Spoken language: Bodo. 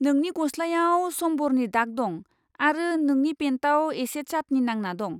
नोंनि गस्लायाव समभरनि दाग दं आरो नोंनि पेन्टआव एसे चाटनी नांना दं।